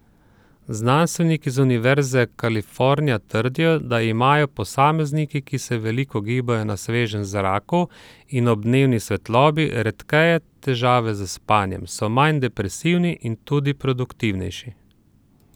Znanstveniki z univerze Kalifornija trdijo, da imajo posamezniki, ki se veliko gibajo na svežem zraku in ob dnevni svetlobi, redkeje težave s spanjem, so manj depresivni in tudi produktivnejši.